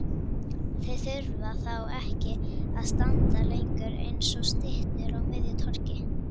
Þau þurfa þá ekki að standa lengur eins og styttur á miðju torgi.